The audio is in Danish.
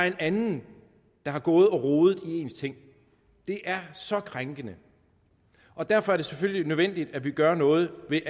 en anden der har gået og rodet i ens ting det er så krænkende og derfor er det selvfølgelig nødvendigt at vi gør noget ved